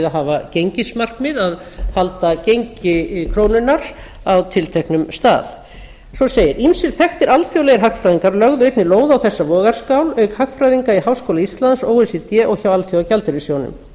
að hafa gengismarkmið að halda gengi krónunnar á tilteknu stað svo segir ýmsir þekktir alþjóðlegir hagfræðingar lögðu einnig lóð á þessa vogarskál auk hagfræðinga í háskóla íslands o e c d og hjá alþjóðagjaldeyrissjóðnum